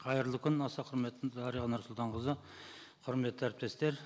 қайырлы күн аса құрметті дариға нұрсұлтанқызы құрметті әріптестер